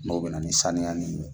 Kumaw bɛ na ni saniya nin ye